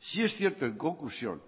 sí es cierto en conclusión